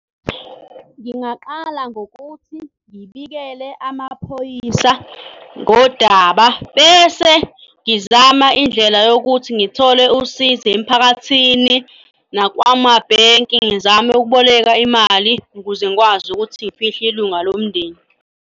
Ngingaqala ngokuthi ngibikele amaphoyisa ngodaba bese ngizama indlela yokuthi ngithole usizo emphakathini nakwamabhenki ngizame ukuboleka imali ukuze ngikwazi ukuthi ngifihle ilunga lomndeni.